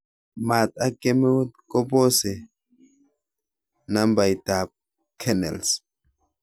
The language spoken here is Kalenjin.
Maat ak kemeut kobose nambaitab kernels